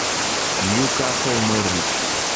ньюкасл норвич